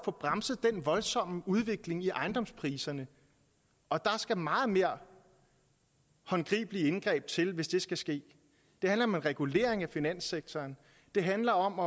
få bremset den voldsomme udvikling i ejendomspriserne og der skal meget mere håndgribelige indgreb til hvis det skal ske det handler om regulering af finanssektoren det handler om